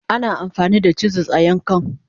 Ana amfani da chisels a yankan..